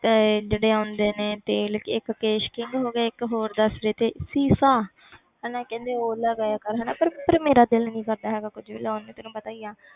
ਤੇ ਜਿਹੜੇ ਆਉਂਦੇ ਨੇ ਤੇਲ ਇੱਕ ਕੇਸ਼ ਕਿੰਗ ਹੋ ਗਿਆ ਇੱਕ ਹੋਰ ਦੱਸ ਰਹੇ ਸੀ ਸ਼ੀਸ਼ਾ ਹਨਾ ਕਹਿੰਦੇ ਉਹ ਲਗਾਇਆ ਕਰ ਹਨਾ ਪਰ ਪਰ ਮੇਰਾ ਦਿਲ ਨੀ ਕਰਦਾ ਹੈਗਾ ਕੁੱਝ ਵੀ ਲਗਾਉਣ ਨੂੰ ਤੈਨੂੰ ਪਤਾ ਹੀ ਆ।